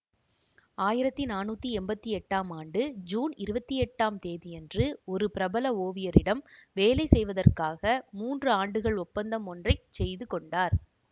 ஆயிரத்தி நானூற்றி எம்பத்தி எட்டாம் ஆண்டு ஜூன் இருபத்தி எட்டு ஆம் தேதியன்று ஒரு பிரபல ஓவியரிடம் வேலை செய்வதற்காக மூன்று ஆண்டுகள் ஒப்பந்தம் ஒன்றை செய்து கொண்டார்